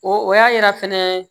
O o y'a yira fɛnɛ